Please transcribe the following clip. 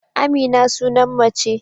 Amina sunan mace